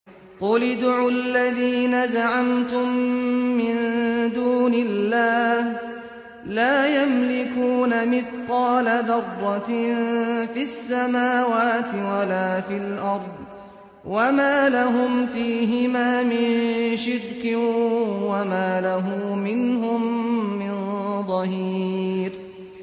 قُلِ ادْعُوا الَّذِينَ زَعَمْتُم مِّن دُونِ اللَّهِ ۖ لَا يَمْلِكُونَ مِثْقَالَ ذَرَّةٍ فِي السَّمَاوَاتِ وَلَا فِي الْأَرْضِ وَمَا لَهُمْ فِيهِمَا مِن شِرْكٍ وَمَا لَهُ مِنْهُم مِّن ظَهِيرٍ